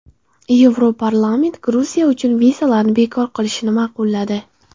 Yevroparlament Gruziya uchun vizalarni bekor qilishni ma’qulladi.